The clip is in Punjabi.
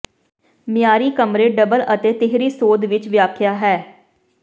ਮਿਆਰੀ ਕਮਰੇ ਡਬਲ ਅਤੇ ਤੀਹਰੀ ਸੋਧ ਵਿੱਚ ਵਿਖਾਇਆ ਹੈ